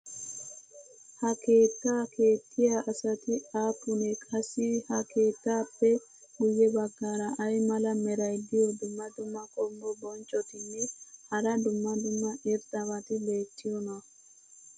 ha keettaa keexxiya asati aapunee? qassi ha keettaappe guye bagaara ay mala meray diyo dumma dumma qommo bonccotinne hara dumma dumma irxxabati beetiyoonaa?